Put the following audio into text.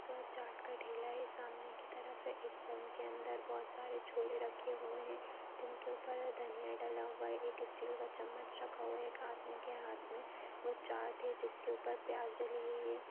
एक चाट का ठेला है सामने की तरफ एक के अंदर बोहोत सारे छोले रखे हुए हैं जिनके ऊपर धनिया डला हुआ है | एक स्टील का चम्मच रखा हुआ है एक आदमी एक हाथ में वो चाट है जिसके ऊपर प्याज डली हुई है।